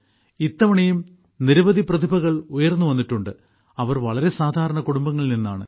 ഇത്തവണയും നിരവധി പ്രതിഭകൾ ഉയർന്നു വന്നിട്ടുണ്ട് അവർ വളരെ സാധാരണ കുടുംബങ്ങളിൽ നിന്നാണ്